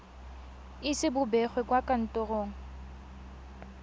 ise bo begwe kwa kantorong